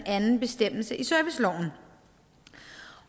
anden bestemmelse i serviceloven